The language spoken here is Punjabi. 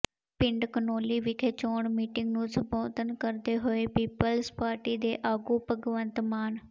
ਪਿੰਡ ਘਨੌਲੀ ਵਿਖੇ ਚੋਣ ਮੀਟਿੰਗ ਨੂੰ ਸੰਬੋਧਨ ਕਰਦੇ ਹੋਏ ਪੀਪਲਜ਼ ਪਾਰਟੀ ਦੇ ਆਗੂ ਭਗਵੰਤ ਮਾਨ